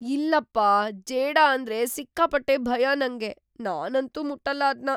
ಇಲ್ಲಪ್ಪಾ! ಜೇಡ ಅಂದ್ರೆ ಸಿಕ್ಕಾಪಟ್ಟೆ ಭಯ ನಂಗೆ. ನಾನಂತೂ ಮುಟ್ಟಲ್ಲ ಅದ್ನ.